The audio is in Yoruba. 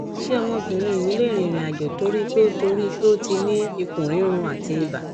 ṣé ọmọbìnrin mi lè rìnrìn àjò torí pé o torí pé o ti ni ikun riru ati iba